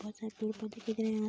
बहोत सारे पेड़-पौधे दिख रहे हैं।